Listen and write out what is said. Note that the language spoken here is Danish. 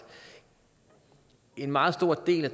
en meget stor del af